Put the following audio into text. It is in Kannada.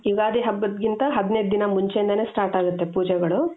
ಯುಗಾದಿ ಹಬ್ಬಗಿಂತ ಹದಿನೈದು ದಿನ ಮುಂಚೆಯಿಂದಾನೆ start ಆಗುತ್ತೆ ಪೂಜೆಗಳು .